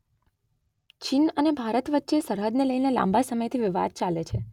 ચીન અને ભારત વચ્ચે સરહદને લઈને લાંબા સમયથી વિવાદ ચાલે છે.